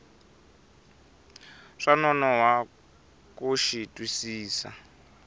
swa nonoha ku xi twisisa